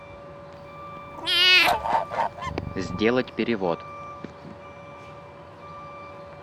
сделать перевод